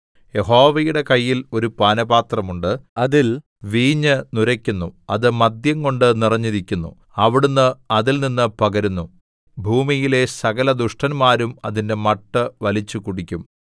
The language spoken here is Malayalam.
യഹോവയുടെ കയ്യിൽ ഒരു പാനപാത്രം ഉണ്ട് അതിൽ വീഞ്ഞു നുരയ്ക്കുന്നു അത് മദ്യംകൊണ്ട് നിറഞ്ഞിരിക്കുന്നു അവിടുന്ന് അതിൽനിന്ന് പകരുന്നു ഭൂമിയിലെ സകലദുഷ്ടന്മാരും അതിന്റെ മട്ട് വലിച്ചുകുടിക്കും